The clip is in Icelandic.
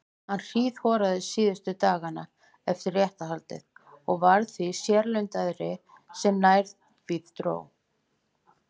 Hann hríðhoraðist síðustu dagana fyrir réttarhaldið og varð því sérlundaðri sem nær því dró.